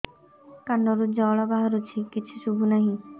କାନରୁ ଜଳ ବାହାରୁଛି କିଛି ଶୁଭୁ ନାହିଁ